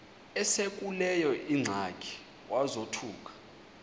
esekuleyo ingxaki wazothuka